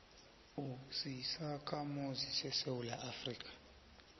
usisakhamuzi sesewula afrika